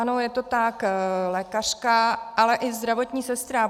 Ano, je to tak, lékařka, ale i zdravotní sestra.